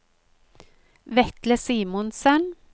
Vetle Simonsen